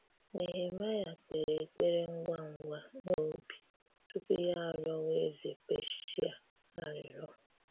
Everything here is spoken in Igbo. Nehemaíà kperè ekperé ngwa ngwa n’obi tupù ya arịọ̀wa ezé Peasià arịrịọ.